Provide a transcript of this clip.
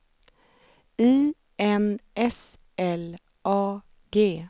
I N S L A G